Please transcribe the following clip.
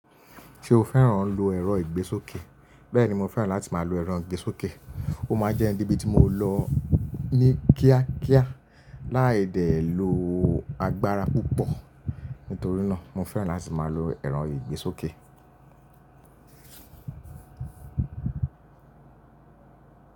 Ṣé o fẹ́ràn lo ẹ̀rọ ìgbésókè? Bẹ́ẹ̀ni, mo fẹ́ràn láti máa lo ẹ̀rọ ìgbésókè. Ó máa jẹ́ ń debì tí mo lọ ní kíá kíá láì de lò agbára púpọ̀. Nítorí náà, mo fẹ́ràn láti máa lo ẹ̀rọ ìgbésókè.